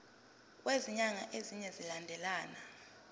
kwezinyanga ezine zilandelana